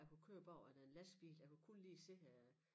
Jeg kunne køre bagved en lastbil jeg kunne kun lige se øh